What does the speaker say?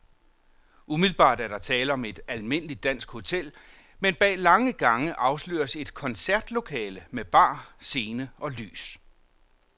Umiddelbart er der tale om et almindeligt dansk hotel, men bag lange gange afsløres et koncertlokale med bar, scene og lys.